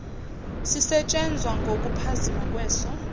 sisetshenzwa ngokuphazima kweso